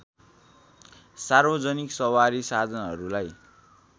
सार्वजनिक सवारी साधनहरूलाई